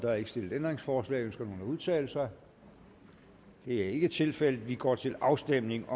er ikke stillet ændringsforslag ønsker nogen at udtale sig det er ikke tilfældet vi går til afstemning